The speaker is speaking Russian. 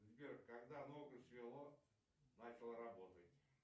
сбер когда ногу свело начал работать